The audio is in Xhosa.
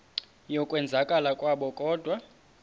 yokwenzakala kwabo kodwa